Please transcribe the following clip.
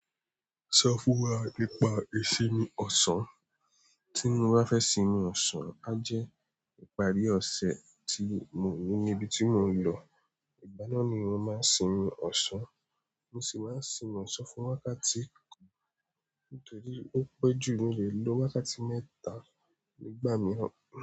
Ṣọ fún wa nipa ìsinmi ọ̀sán. Tí mo bá fẹ́ sinmi ọ̀sán, á jẹ́ ìparí ọ̀sẹ̀ tí mo ní níbi tí mò ń lọ. Ìgbáná ni mò ń máa sinmi ọ̀sán. Mo sì máa ń sinmi ọ̀sán fún wákàtí kan nítorí ó pẹ́ jù. Mi lè lo wákàtí mẹ́ta nígbà mìíràn.